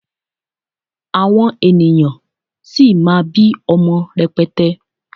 àwọn ènìyàn sì má bi ọmọ rẹpẹtẹ